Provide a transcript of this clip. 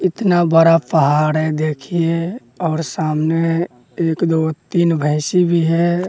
इतना बड़ा पहाड़ है देखिए और सामने एक दो तीन भैंसी भी है।